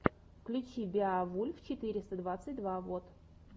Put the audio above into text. включи беовульф четыреста двадцать два вот